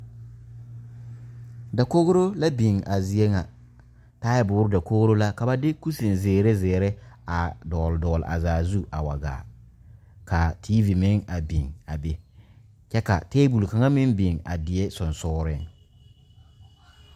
Dakogro la biŋ a zie ŋa taaboore dakogro la ka ba de kusin zeere zeere a dɔgle dɔgle a zaa zu a wa gaa ka tiivi meŋ a biŋ a be kyɛ ka tabol kaŋ meŋ biŋ a die sensoglensooreŋ.